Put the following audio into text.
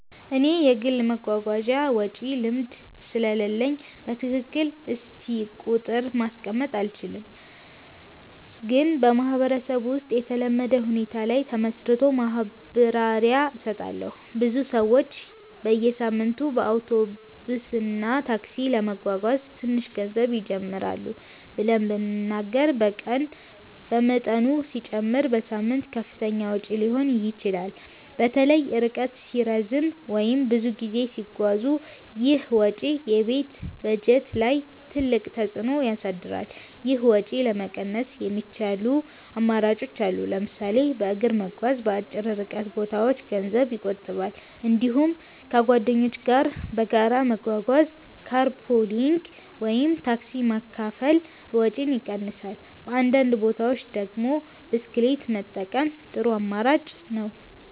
እኔ የግል የመጓጓዣ ወጪ ልምድ ስለሌለኝ በትክክል እስቲ ቁጥር ማስቀመጥ አልችልም፣ ግን በማህበረሰብ ውስጥ የተለመደ ሁኔታ ላይ ተመስርቶ ማብራሪያ እሰጣለሁ። ብዙ ሰዎች በየሳምንቱ በአውቶቡስ እና ታክሲ ለመጓጓዝ ትንሽ ገንዘብ ይጀምራሉ ብለን ብንናገር በቀን በመጠኑ ሲጨመር በሳምንት ከፍተኛ ወጪ ሊሆን ይችላል። በተለይ ርቀት ሲረዝም ወይም ብዙ ጊዜ ሲጓዙ ይህ ወጪ የቤት በጀት ላይ ትልቅ ተፅዕኖ ያሳድራል። ይህን ወጪ ለመቀነስ የሚቻሉ አማራጮች አሉ። ለምሳሌ በእግር መጓዝ በአጭር ርቀት ቦታዎች ገንዘብ ይቆጥባል። እንዲሁም ከጓደኞች ጋር በጋራ መጓጓዝ (car pooling ወይም ታክሲ መካፈል) ወጪን ይቀንሳል። በአንዳንድ ቦታዎች ደግሞ ብስክሌት መጠቀም ጥሩ አማራጭ ነው።